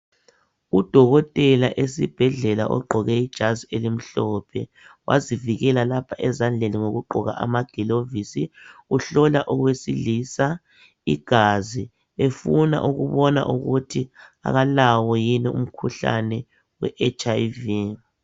u dokotela esibhedlela ogqoke ijazi elimhlophe wazivikela lapha esandleni ngokugqoka amagilovisi uhlola owesilisa igazi efuna ukubona ukuthi kalawo yini umkhuhlane we HIV